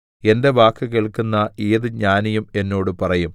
എന്റെ വാക്ക് കേൾക്കുന്ന ഏത് ജ്ഞാനിയും എന്നോട് പറയും